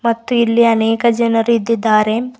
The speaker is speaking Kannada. ಮತ್ತು ಇಲ್ಲಿ ಅನೇಕ ಜನರು ಇದ್ದಿದ್ದಾರೆ.